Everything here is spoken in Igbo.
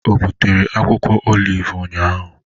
Obutere akwukwo oliv ụnyahụ?